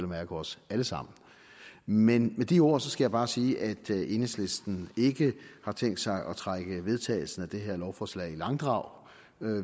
mærke os alle sammen men med de ord skal jeg bare sige at enhedslisten ikke har tænkt sig at trække vedtagelsen af det her lovforslag i langdrag